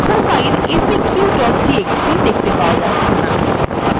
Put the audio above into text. এখন file faq txt দেখতে পাওয়া যাচ্ছেনা